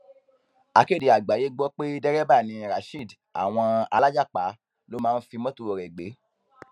akéde àgbáyé gbọ pé dẹrẹbà ni rasheed àwọn alájàpá ló máa ń fi mọtò rẹ gbé